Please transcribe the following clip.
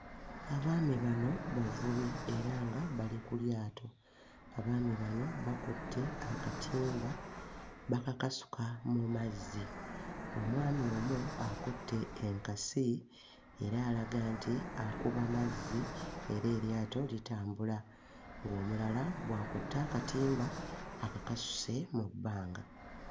Abaami bano bavubi era nga bali ku lyato. Abaami bano bakutte akatimba bakakasuka mu mazzi. Omwami omu akutte enkasi era alaga nti akuba mazzi era eryato litambula ng'omulala bw'akutte akatimba akakasuse mu bbanga.